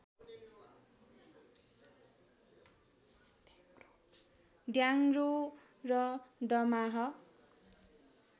ढ्याङ्ग्रो र दमाहा